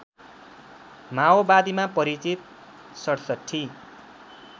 माओवादीमा परिचित ६७